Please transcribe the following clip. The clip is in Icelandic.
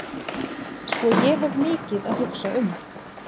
Svo ég hef mikið að hugsa um.